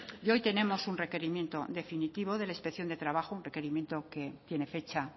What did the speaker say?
y hoy tenemos un requerimiento definitivo de la inspección de trabajo un requerimiento que tiene fecha